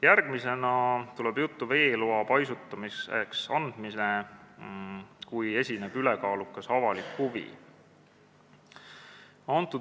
Järgmisena tuleb juttu veeloa andmisest paisutamise jaoks, kui esineb ülekaalukas avalik huvi.